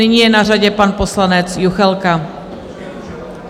Nyní je na řadě pan poslanec Juchelka.